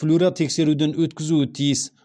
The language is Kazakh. флюоротексеруден өткізуі тиіс